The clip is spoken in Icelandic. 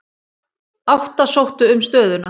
Átta sóttu um stöðuna.